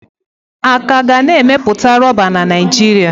A ka ga na emepụta Rọba na Naijiria.